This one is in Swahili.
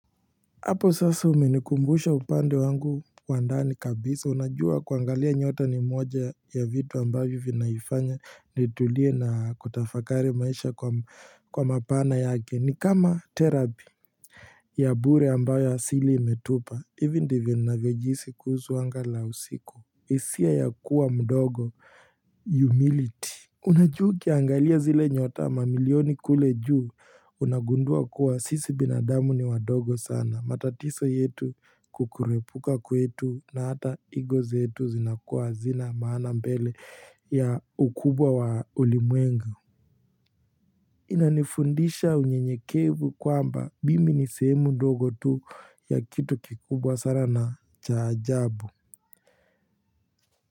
Apo sasa umenikumbusha upande wangu wa ndani kabisa unajua kuangalia nyota ni moja ya vitu ambavyo vinaifanya nitulie na kutafakari maisha kwa mapana yake ni kama therapi ya bure ambayo asili imetupa hivi ndivyo ninavyojihisi kuhusu anga la usiku hisia ya kuwa mdogo humility Unajua ukiangalia zile nyota mamilioni kule juu unagundua kuwa sisi binadamu ni wadogo sana matatizo yetu kukurepuka kwetu na hata ego zetu zinakuwa hazina maana mbele ya ukubwa wa ulimwengu. Inanifundisha unyenyekevu kwamba mimi ni sehemu ndogo tu ya kitu kikubwa sana na cha ajabu.